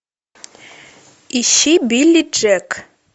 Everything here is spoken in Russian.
ищи билли джек